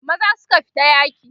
maza suka fita yaki